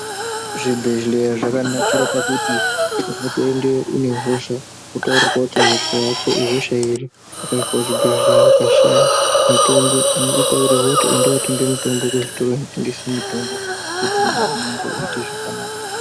Zvibhedhleya zvakanakira pakuti unotoendeyo une hosha votaurwa kuti hosha yako ihosha ipi .Kuzvibhedhleya ukashaye mitombo unitotaurirwe kuti enda otenge mutombo muzvitora inotengese mitombo kuti muviri vako uite zvakanaka .